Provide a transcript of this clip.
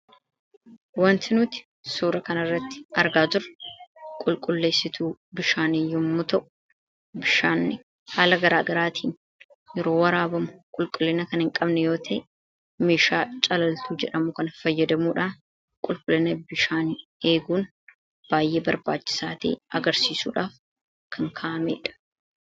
wanti nuti suura kanirratti argaa jiru qulqulleessituu bishaanii yommuu ta'u bishaanni haala garaagaraatiin yeroo waraabamu qulqullina kan hin qabne yoo ta'e meeshaa calaltuu jedhamuu kana fayyadamuudhaan qulqullina bishaani eeguun baay'ee barbaachisaa ta'e agarsiisuudhaaf kan kaa'ameedha.